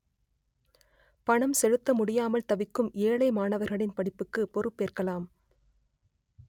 பணம் செலுத்த முடியாமல் தவிக்கும் ஏழை மாணவர்களின் படிப்புக்கு பொறுப்பேற்கலாம்